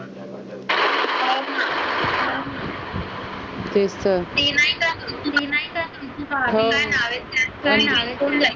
ते नाही का